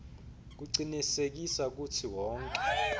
kucinisekisa kutsi wonkhe